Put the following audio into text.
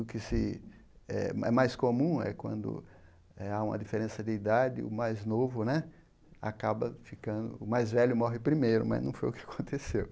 O que se é é mais comum é quando há uma diferença de idade, o mais novo né acaba ficando... O mais velho morre primeiro né, mas não foi o que aconteceu.